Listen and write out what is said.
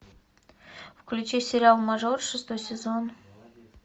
включи сериал мажор шестой сезон